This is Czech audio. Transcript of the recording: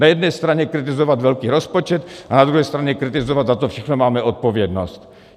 Na jedné straně kritizovat velký rozpočet a na druhé straně kritizovat, za co všechno máme odpovědnost.